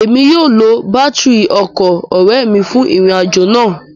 Emi yóò lo batiri ọkọ ọrẹ mi fun irin-ajo naa